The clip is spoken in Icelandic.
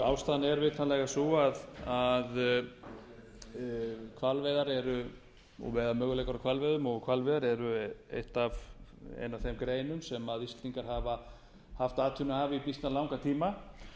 ástæðan er vitanlega sú að möguleikar á hvalveiðum og hvalveiðar er ein af þeim greinum sem íslendingar hafa haft atvinnu af í býsna langan tíma